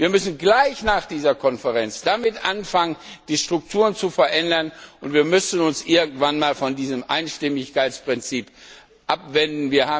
Wir müssen gleich nach dieser Konferenz damit anfangen, die Strukturen zu verändern, und wir müssen uns irgendwann einmal von diesem Einstimmigkeitsprinzip abwenden.